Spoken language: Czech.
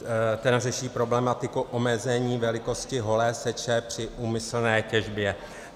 Ten řeší problematiku omezení velikosti holé seče při úmyslné těžbě.